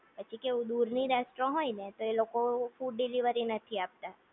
પછી કેવું દૂરની રેસ્ટોરન્ટ હોય ને તો એ લોકો ફૂડ ડિલિવરી નથી આપતા